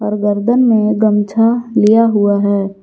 और गर्दन में गमछा लिया हुआ है।